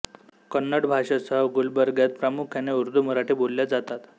कन्नड भाषेसह गुलबर्ग्यात प्रामुख्याने उर्दू मराठी बोलल्या जातात